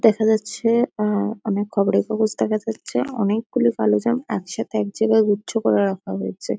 দেখা যাচ্ছে। আ আ আ অনেক খবরের কাগজ দেখা যাচ্ছে। অনেকগুলি কালো জাম এক সাথে এক জায়গায় গুচ্ছ করে রাখা হয়েছে।